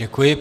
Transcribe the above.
Děkuji.